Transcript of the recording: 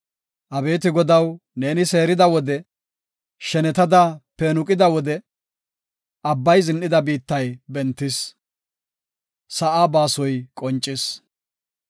Abeeti Godaw, neeni seerida wode, shenetada peenuqida wode, Abbay zin7ida biittay bentis; sa7a baasoy qoncis.